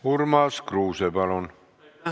Urmas Kruuse, palun!